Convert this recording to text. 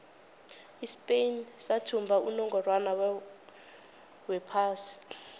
ispain sathumba unongorwond wephasi